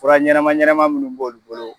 Fura ɲɛnama ɲɛnama minnu b'an bolo.